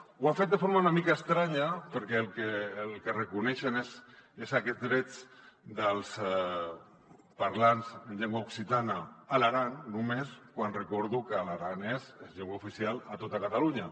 ho han fet de forma una mica estranya perquè el que reconeixen són aquests drets dels parlants en llengua occitana a l’aran només quan recordo que l’aranès és llengua oficial a tota catalunya